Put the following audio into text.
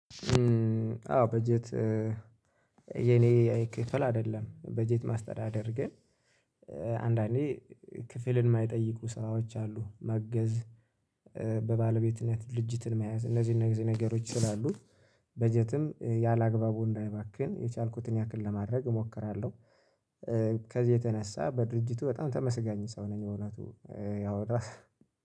አዎ በጀት የኔ አይ ክፈል አይደለም በጀት ማስተዳደር ግን አንዳንዴ ክፍልን የማይጠይቁ ስራዎች አሉ ማገዝ በባለቤትነት ድርጅትን መያዝ እነዚህን እነዚህ ነገሮች ይችላሉ። በጀትም ያላአ ግባቡ እንዳይባክን የቻልኩትን ያክል ለማድረግ እሞክራለሁ። ከዚህ የተነሳ በድርጅቱ በጣም ተመስጋኝ ሰው ነኝ። እውነቱ ያው